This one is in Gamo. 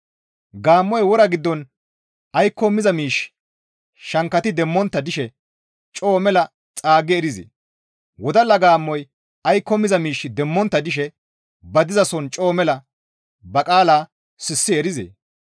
Gaammoy wora giddon aykko miza miish shankkati demmontta dishe coo mela xaaggi erizee? Wodalla gaammoy aykko miza miish demmontta dishe ba dizason coo mela ba qaala sissi erizee?